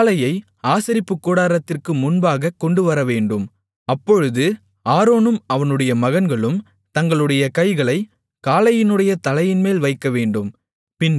காளையை ஆசரிப்புக்கூடாரத்திற்கு முன்பாகக் கொண்டுவரவேண்டும் அப்பொழுது ஆரோனும் அவனுடைய மகன்களும் தங்களுடைய கைகளைக் காளையினுடைய தலையின்மேல் வைக்கவேண்டும்